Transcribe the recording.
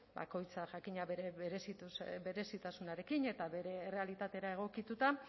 bakoitzak jakina bere berezitasunarekin eta bere errealitatera egokituta